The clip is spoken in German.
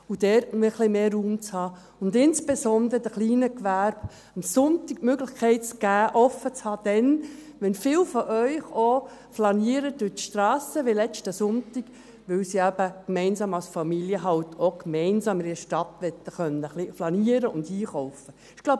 Und dort etwas mehr Raum zu haben und insbesondere den kleinen Gewerben am Sonntag die Möglichkeit zu geben, offen zu halten, dann, wenn viele von Ihnen durch die Strassen flanieren – wie letzten Sonntag –, weil sie halt auch gemeinsam als Familie in der Stadt flanieren und einkaufen möchten ...